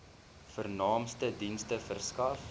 vernaamste dienste verskaf